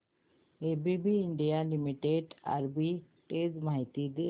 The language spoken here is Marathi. एबीबी इंडिया लिमिटेड आर्बिट्रेज माहिती दे